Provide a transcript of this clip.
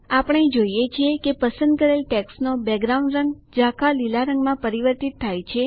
આપણે જોઈએ છીએ કે પસંદ કરેલ ટેક્સ્ટનો બેકગ્રાઉન્ડ રંગ ઝાંખા લીલા રંગમાં પરિવર્તિત થાય છે